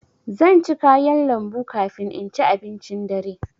Zan ci kayan lambu kafin in ci abincin dare.